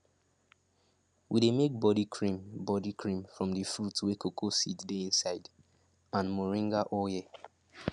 we dey make body cream body cream from the fruit wey cocoa seed dey inside and moringa oil